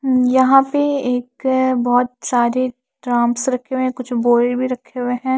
यहां पे एक बहुत सारे ड्राम्स रखे हुए हैं कुछ बोरे भी रखे हुए हैं।